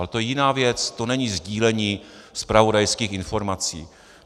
Ale to je jiná věc, to není sdílení zpravodajských informací.